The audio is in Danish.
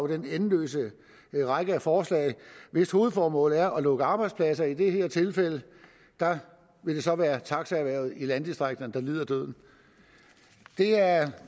den endeløse række af forslag hvis hovedformål er at lukke arbejdspladser i det her tilfælde vil det så være taxaerhvervet i landdistrikterne der lider døden det er